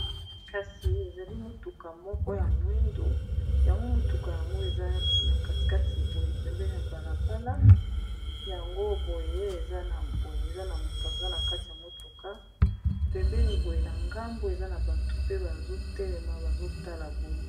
Kasi ezali motuka moko ya mwindu yango motuka yango eza na katikati boye pembei ya balabala yango boye, eza na boye eza na moto aza na kati ya motuka pembeni boye na ngambo eza na bato pe bazotelema bazotala boye.